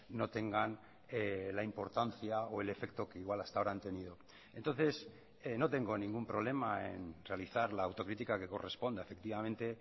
no tengan la importancia o el efecto que igual hasta ahora han tenido entonces no tengo ningún problema en realizar la autocrítica que corresponda efectivamente